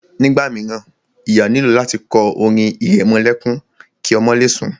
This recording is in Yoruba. Nígbà míràn, ìyá nílò láti kọ orin ìrẹmọlẹ́kún ki ọmọ le sùn.